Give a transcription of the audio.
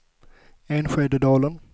Enskededalen